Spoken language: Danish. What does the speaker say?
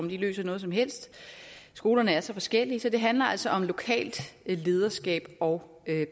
løser noget som helst skolerne er så forskellige så det handler altså om lokalt lederskab og